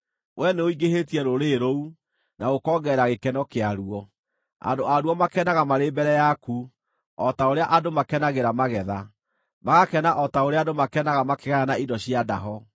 Wee nĩũingĩhĩtie rũrĩrĩ rũu, na ũkongerera gĩkeno kĩaruo; andũ aruo makenaga marĩ mbere yaku, o ta ũrĩa andũ makenagĩra magetha, magakena o ta ũrĩa andũ makenaga makĩgayana indo cia ndaho.